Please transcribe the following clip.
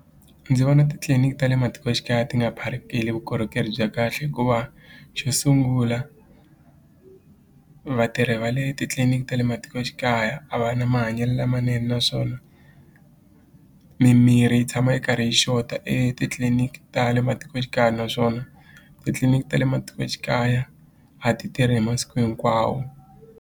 Ndzi vona titliliniki ta le matikoxikaya ti nga vukorhokeri bya kahle hikuva xo sungula vatirhi va le titliliniki ta le matikoxikaya a va na mahanyelo lamanene naswona mimirhi yi tshama yi karhi yi xota etitliliniki ta le matikoxikaya naswona titliliniki ta le matikoxikaya a ti tirhi hi masiku hinkwawo.